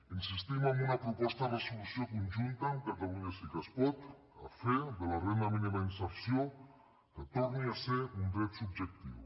insistim en una proposta de resolució conjunta amb catalunya sí que es pot a fer que la renda mínima d’inserció torni a ser un dret subjectiu